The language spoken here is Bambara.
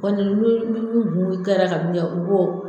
kɛra kan min kɛ u b'o